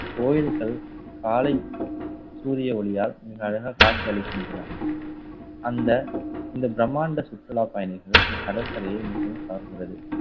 கோயில்கள் காலை சூரிய ஒளியால் மிக அழகாக காட்சியளிக்கின்றன. அந்த இந்த பிரம்மாண்ட சுற்றுலா பயணிகள் இக்கடற்கரையை மிகவும் கவர்கிறது